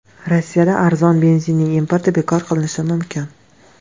Rossiyada arzon benzinning importi bekor qilinishi mumkin.